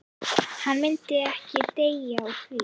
En hann myndi ekki deyja úr því.